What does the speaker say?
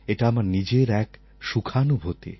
এটা আমার নিজের এক সুখানুভূতি